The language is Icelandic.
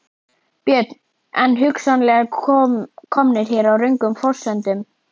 Björn: En hugsanlega komnir hér á röngum forsendum?